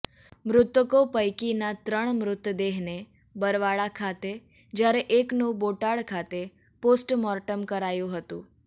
મૃતકો પૈકીના ત્રણ મૃતદેહને બરવાળા ખાતે જયારે એકનુ બોટાદ ખાતે પોસ્ટમોર્ટમ કરાયુ હતુ